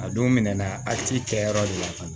A don minɛn na a t'i kɛ yɔrɔ de la ka na